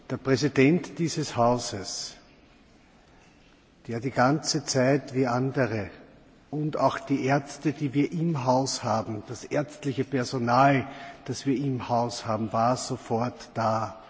Der Präsident dieses Hauses war, wie andere, die ganze Zeit da, und auch die Ärzte, die wir im Haus haben, das ärztliche Personal, das wir im Haus haben, waren sofort da.